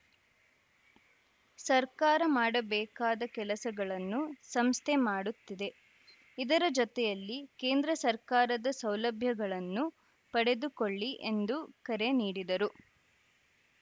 ಸರ್ಕಾರ ಮಾಡಬೇಕಾದ ಕೆಲಸಗಳನ್ನು ಸಂಸ್ಥೆ ಮಾಡುತ್ತಿದೆ ಇದರ ಜೊತೆಯಲ್ಲಿ ಕೇಂದ್ರ ಸರ್ಕಾರದ ಸೌಲಭ್ಯಗಳನ್ನು ಪಡೆದುಕೊಳ್ಳಿ ಎಂದು ಕರೆ ನೀಡಿದರು